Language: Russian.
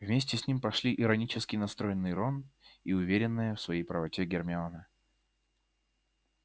вместе с ним пошли иронически настроенный рон и уверенная в своей правоте гермиона